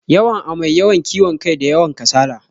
Yawan amai, yawan kiwon kai, da yawan kasala.